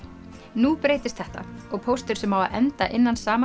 nú breytist þetta og póstur sem á að enda innan sama